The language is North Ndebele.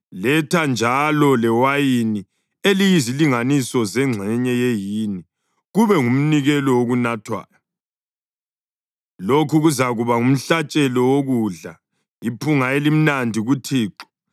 Letha njalo lewayini eliyizilinganiso zengxenye yehini kube ngumnikelo wokunathwayo. Lokhu kuzakuba ngumhlatshelo wokudla, iphunga elimnandi kuThixo.